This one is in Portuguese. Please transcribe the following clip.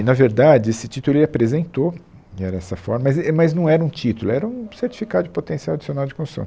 E na verdade, esse título ele apresentou, era essa forma, mas e mas não era um título, era um certificado de potencial adicional de construção.